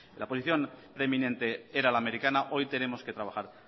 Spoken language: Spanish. la posición preeminente era la americana hoy tenemos que trabajar